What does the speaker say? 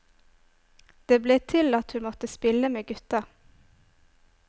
Det ble til at hun måtte spille med gutta.